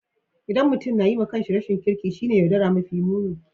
ldan mutum na yi ma kan shi rashin kirki shine yaudara mafi nuni.